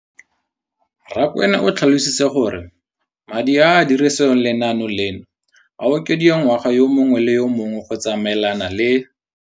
Rakwena o tlhalositse gore madi a a dirisediwang lenaane leno a okediwa ngwaga yo mongwe le yo mongwe go tsamaelana le